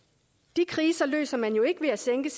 de kriser løser man jo ikke ved at sænke